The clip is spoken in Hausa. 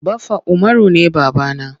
Baffa Umaru ne baba na.